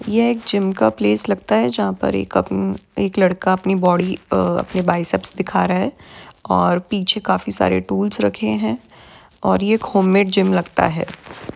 यह एक जिम का प्लेस लगता है जहा पर एक अम एक लड़का अपनी बॉडी अ अपने बाइसेप्स दिखा रहा है और पीछे काफी सारे टूल्स रखे है और ये एक होममैड जिम लगता है।